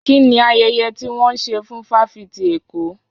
Kí ni ayẹyẹ ti wọ́n ń ṣe fún fáfitì Èkó?